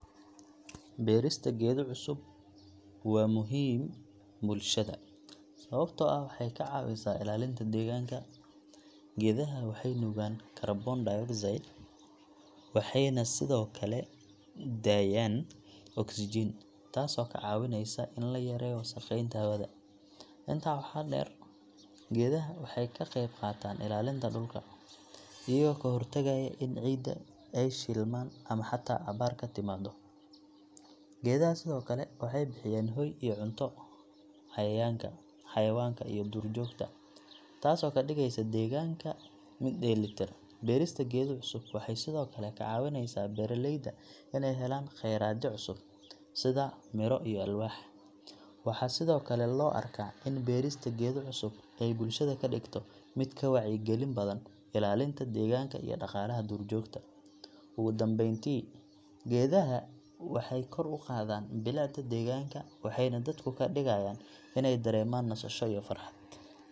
Beerista geedo cusub waa muhiim bulshada, sababtoo ah waxay ka caawisaa ilaalinta deegaanka. Geedaha waxay nuugaan carbon dioxide waxayna sii daayaan oksijiin, taasoo ka caawineysa in la yareeyo wasakheynta hawada. Intaa waxaa dheer, geedaha waxay ka qayb qaataan ilaalinta dhulka, iyagoo ka hortagaya in ciidda ay shilmaan ama xataa abaar ka timaado. Geedaha sidoo kale waxay bixiyaan hoy iyo cunto cayayaanka, xayawaanka iyo duurjoogta, taasoo ka dhigaysa deegaanka mid dheellitiran. Beerista geedo cusub waxay sidoo kale ka caawineysaa beeralayda inay helaan kheyraadyo cusub, sida miro iyo alwaax. Waxaa sidoo kale loo arkaa in beerista geedo cusub ay bulshada ka dhigto mid ka wacyigelin badan ilaalinta deegaanka iyo dhaqaalaha duurjoogta. Ugu dambeyntii, geedaha waxay kor u qaadaan bilicda deegaanka waxayna dadku ka dhigaan inay dareemaan nasasho iyo farxad.